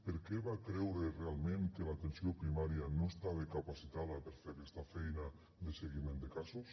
per què va creure realment que l’atenció primària no estava capacitada per fer aquesta feina de seguiment de casos